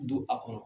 Don a kɔnɔ